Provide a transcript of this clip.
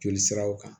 Joli siraw kan